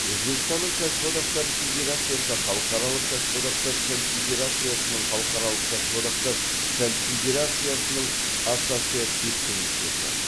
өзбекстанның кәсіподақтары федерациясы халықаралық кәсіподақтар конфедерациясының халықаралық кәсіподақтар конфедерациясының ассоциацивті мүшесі